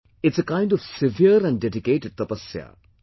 It's a kind of severe and dedicated 'tapasya'